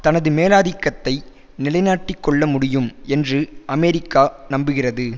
தனது மேலாதிக்கத்தை நிலைநாட்டிக்கொள்ள முடியும் என்று அமெரிக்கா நம்புகிறது